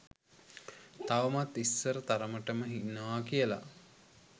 තවමත් ඉස්සර තරමටම ඉන්නවා කියලා